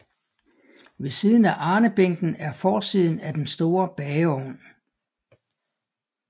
Ved siden af arnebænken er forsiden af den store bageovn